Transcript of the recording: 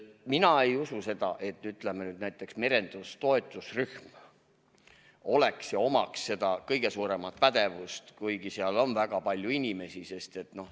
Mina ei usu, et näiteks merenduse toetusrühmal on kõige suurem pädevus, kuigi seal on väga palju inimesi.